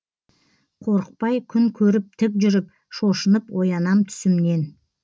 қорықпай күн көріп тік жүріп шошынып оянам түсімнен